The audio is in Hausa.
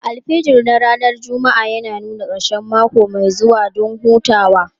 Alfijir na ranar Juma'a yana nuna ƙarshen mako mai zuwa don hutawa.